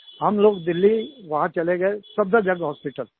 हम लोग दिल्ली चले गए सफदरजंग हॉस्पिटल